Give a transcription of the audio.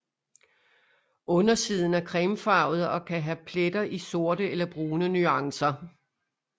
Undersiden er cremefarvet og kan have pletter i sorte eller brune nuancer